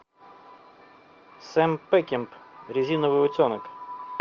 сэм пекинпа резиновый утенок